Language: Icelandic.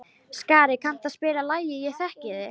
Skari, kanntu að spila lagið „Ég þekki þig“?